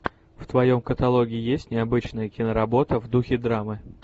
в твоем каталоге есть необычная киноработа в духе драмы